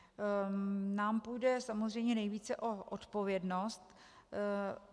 Nám půjde samozřejmě nejvíce o odpovědnost.